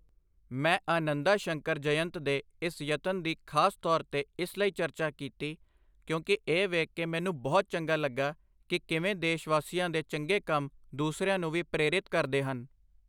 ਮੈਂ ਆਨੰਦਾ ਸ਼ੰਕਰ ਜਯੰਤ ਦੇ ਇਸ ਯਤਨ ਦੀ ਖਾਸ ਤੌਰ ਤੇ ਇਸ ਲਈ ਚਰਚਾ ਕੀਤੀ, ਕਿਉਂਕਿ ਇਹ ਵੇਖ ਕੇ ਮੈਨੂੰ ਬਹੁਤ ਚੰਗਾ ਲੱਗਾ ਕਿ ਕਿਵੇਂ ਦੇਸ਼ਵਾਸੀਆਂ ਦੇ ਚੰਗੇ ਕੰਮ ਦੂਸਰਿਆਂ ਨੂੰ ਵੀ ਪ੍ਰੇਰਿਤ ਕਰਦੇ ਹਨ।